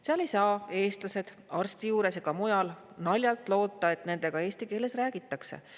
Seal ei saa eestlased arsti juures ega mujal naljalt loota, et nendega eesti keeles räägitakse.